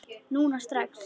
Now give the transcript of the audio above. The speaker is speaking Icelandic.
Núna strax?